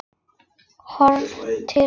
Horft til hafs.